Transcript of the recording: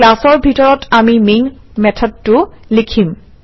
ক্লাছৰ ভিতৰত আমি মেইন মেথডটো লিখিম